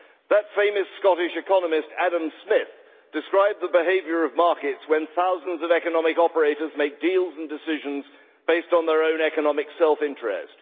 The famous Scottish economist, Adam Smith, described the behaviour of markets when thousands of economic operators make deals and decisions based on their own economic self interest.